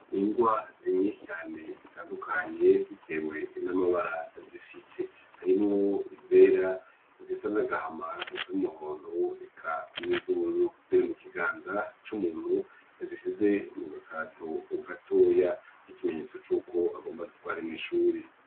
Ingwa nyishi cane zitandukanye bitewe n'amabara zifise harimwo izera izisa n'agahama izumuhondo eka n'izubururu ziri mu kiganza c'umuntu yazishize mu gakarato gatoya nk'ikimenyetso c'uko agomba azitware mwishuri.